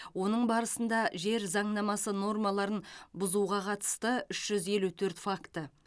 оның барысында жер заңнамасы нормаларын бұуға қатысты үш жүз елу төрт факті